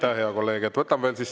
Aitäh, hea kolleeg!